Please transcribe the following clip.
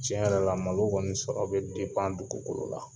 Tiɲɛ yɛrɛ la malo kɔni sɔrɔ bɛ dugukolo la.